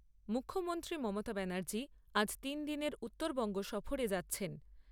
মুখ্যমন্ত্রী মমতা ব্যানার্জী আজ তিনদিনের উত্তরবঙ্গ সফরে যাচ্ছেন।